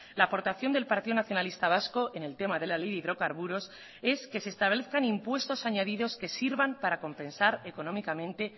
la aportación del partido nacionalista vasco en el tema de la ley de hidrocarburos es que se establezcan impuestos añadidos que sirvan para compensar económicamente